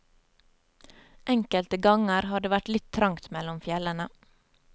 Enkelte ganger har det vært litt trangt mellom fjellene.